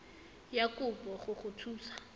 ya kopo go go thusa